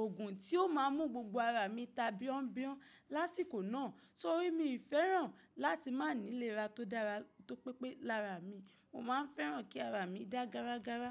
òògùn tí ó má a mú gbogbo ara mi ta bíọ́ńbíọ́ń lásìkò náà torí mi fẹ́ràn láti má níléra tó dára tó pẹ́pẹ́ lára mi. Mo má a fẹ́ràn kí ara mi dá gara gara.